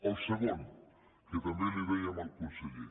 el segon que també li ho dèiem al conseller